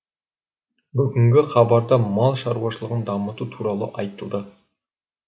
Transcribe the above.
бүгінгі хабарда мал шаруашылығын дамыту туралы айтылды